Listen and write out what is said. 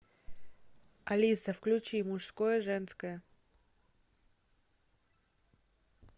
алиса включи мужское женское